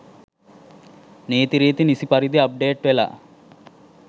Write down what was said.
නීතිරීති නිසි පරිදි අප්ඩේට් වෙලා